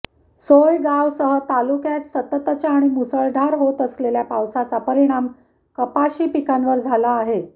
सोयगावसह तालुक्यात सततच्या आणि मुसळधार होत असलेल्या पावसाचा परिणाम कपाशी पिकांवर झाला आहे